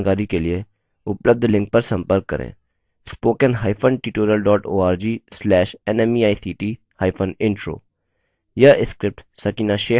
इस mission पर अधिक जानकारी के लिए उपलब्ध लिंक पर संपर्क करें